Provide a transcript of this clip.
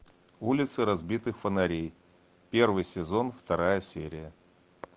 улицы разбитых фонарей первый сезон вторая серия